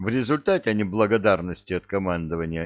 в результате не благодарности от командование